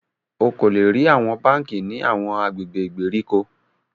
O ko le rí awọn bánkì ní awọn agbègbè ìgbèríko